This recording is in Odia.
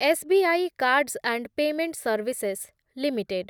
S B I cards and payment services limited